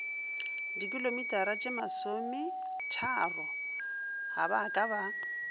dikilometaratšemasometharo ga ba ka ba